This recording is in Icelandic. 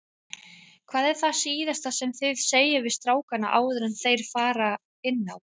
Hvað er það síðasta sem þið segið við strákana áður enn þeir fara inn á?